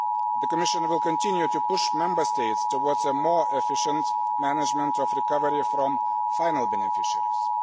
The Commission will continue to push Member States towards more efficient management of recovery from final beneficiaries.